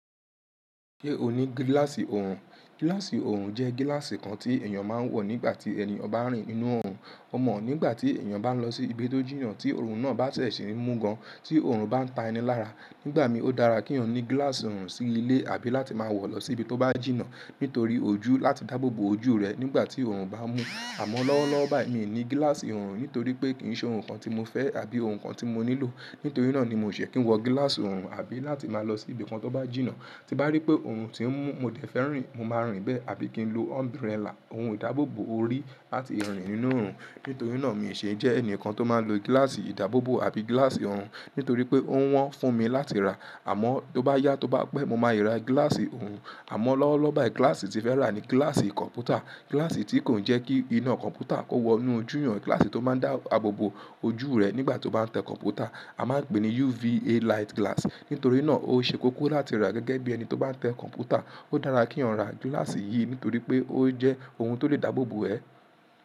Ṣé o ní gílàsì òòrùn? Gílàsì òòrùn jẹ́ gílàsì kan tí èèyàn máa ń wọ̀ nígbà tí ẹni ọba ń rìn nínú òòrùn. O mọ̀ nígbà tí èèyàn bá ń lọ sí ibi tó jìyàn, tí òòrùn náà bá tẹ̀síì ń mú gan, tí òòrùn bá ń ta ẹni lára. Nígbà mí, ó dára kí eeyan ní gílàsì òòrùn sí ilé àbí láti máa wọ̀ lọ sí ibi tó bá jìnnà. Nítorí ojú, láti dáàbò bo ojú rẹ̀ nígbà tí òòrùn bá ń mú. Àmọ̀ lọ́wọ́lọ́wọ́ báyìí mi ní gílàsì òòrùn nítorí pé kì í ṣe ohun kan tí mo fẹ́ àbí ohun kan tí mo nílò. Nítorí náà ni mi ò ṣe kí n wọ gílàsì òòrùn àbí láti máa lọ sí ibi kan tó bá jìnnà. Tí bá rí pé òòrùn tí ń mú, mo dẹ̀ fẹ́ rìn, mo máa rìn bẹ́ẹ̀. Àbí kí n lo umbrella, ohun ìdáàbò bo orí láti rìn nínú òòrùn. Nítorí náà mi ò ṣe jẹ́ ẹnìkan tó máa ń lo gílàsì ìdáàbò bo àbí gílàsì òòrùn. Nítorí pé ó wọ́n fún mi láti rà. Àmọ́ tó bá yá, tó bá pẹ́, mo máa i ra gílàsì òòrùn. Àmọ́ lọ́wọ́lọ́wọ́ báyìí gílàsì tí n fẹ́ rà ni gílàsì kọ̀m̀pútà. Gílàsì tí kò jẹ́ kí iná kọ̀m̀pútà kó wọ inú ojú yàn. Gílàsì tó máa ń dá àbò bo ojú rẹ̀ nígbà tó bá ń tẹ kọ̀m̀pútà. A máa ń pè é ní UV A light glass. Nítorí náà ó ṣe kókó láti rà gẹ́gẹ́ bí ẹni tó bá ń tẹ kọ̀m̀pútà. Ó dára kí ọ̀ ń ra gílàsì yìí nítorí pé ó jẹ́ ohun tó lè dáàbò bo ẹ.